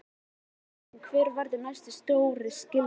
Nú er það bara spurning hver verður næsti stjóri Gylfa?